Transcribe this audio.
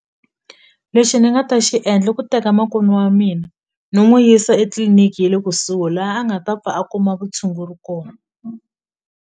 Lexi ni nga ta xi endla i ku teka makwenu wa mina ni n'wi yisa etliliniki ye le kusuhi la a nga ta pfa a kuma vutshunguri kona.